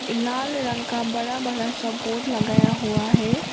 लाल रंग का बड़ा बड़ा सा बोर्ड लगाया हुआ है।